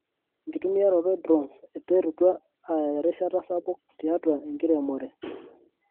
Enkitumiaroto e drones eterutua aya erishata sapuk tiatua enkiremore.